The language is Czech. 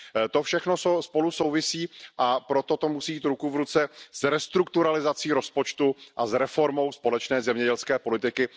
To všechno spolu souvisí, a proto to musí jít ruku v ruce s restrukturalizací rozpočtu a s reformou společné zemědělské politiky.